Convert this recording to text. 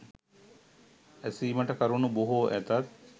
ඇසීමට කරුණු බොහෝ ඇතත්